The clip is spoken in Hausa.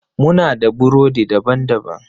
Muna da burodi daban-baban.